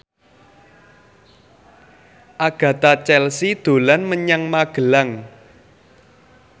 Agatha Chelsea dolan menyang Magelang